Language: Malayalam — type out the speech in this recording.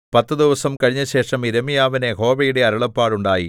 പത്തു ദിവസം കഴിഞ്ഞശേഷം യിരെമ്യാവിന് യഹോവയുടെ അരുളപ്പാടുണ്ടായി